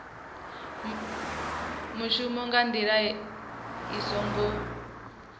muvhuso nga ndila i songo